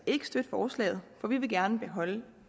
ikke støtte forslaget for vi vil gerne beholde